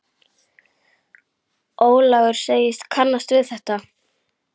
Ólafur segist kannast við þetta.